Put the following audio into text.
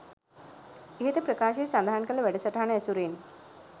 ඉහත ප්‍රකාශය සඳහන් කළ වැඩසටහන ඇසුරින්